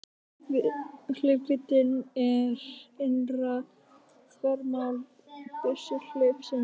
Hlaupvíddin er innra þvermál byssuhlaupsins.